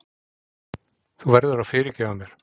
Þú verður að fyrirgefa mér.